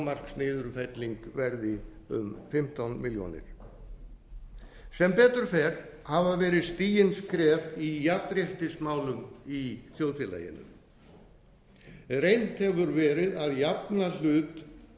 að hámarksniðurfelling verði um fimmtán milljónir sem betur fer hafa verið stigin skref í jafnréttismálum í þjóðfélaginu reynt hefur verið að jafna hlut